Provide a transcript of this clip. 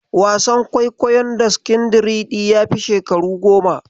Wasan kwaikwayon Daskindariɗi yafi shekaru goma.